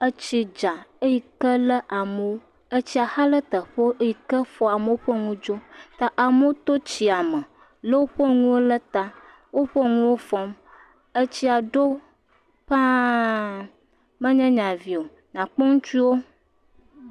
Etsi dza eyi ke le amewo. Etsia xa ɖe teƒewo eyi ke fɔ amewo ƒe nuwo dzo. Ta amewo to tsia me lo woƒe nuwo ɖe ta woƒe nuwo fɔm. Etsia ɖo paa menye nya vi o. Akpɔ ŋutsuwo